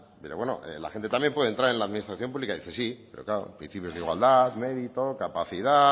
pero bueno la gente también puede entrar en la administración pública y dice sí pero claro principios de igualdad mérito capacidad